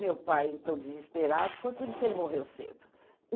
Meu pai então desesperado, foi por isso que ele morreu cedo.